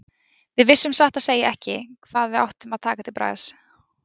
Við vissum satt að segja ekki hvað við áttum að taka til bragðs.